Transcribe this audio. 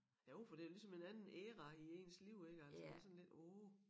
Jo for det jo ligesom en anden æra i ens liv ik altså det sådan lidt åh